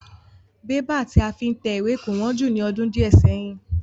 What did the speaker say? Bébà tí a fi ń tẹ ìwé kò wón jù ní ọdún diẹ séyìn.